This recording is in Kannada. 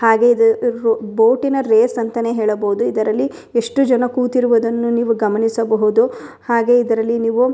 ಹಾಗೆ ಇದು ರೂ ಬೋಟಿನ ರೇಸ್ ಅಂತಾನೆ ಹೇಳಬಹುದು ಇದರಲ್ಲಿ ಎಷ್ಟು ಜನ ಕೂತಿರುವುದನ್ನು ನೀವು ಗಮನಿಸಬಹುದು ಹಾಗೆ ಇದರಲ್ಲಿ ನೀವು --